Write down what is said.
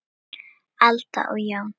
Alda og Jón.